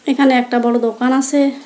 এখানে একটা বড়ো দোকান আসে।